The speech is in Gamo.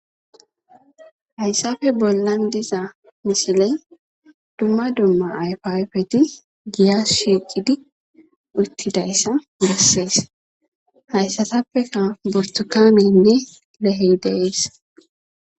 Haysappe bollan diza misiley duma duma ayfa ayfeti giya shiqidi uttidaysa besses. Hayssatappeka butukaneynne lehey de'es.